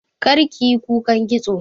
Kar kiyi kukan kitso!